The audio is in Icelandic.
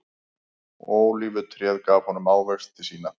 Ólífutréð gaf honum ávexti sína.